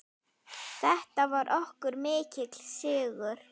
Þetta var okkur mikill sigur.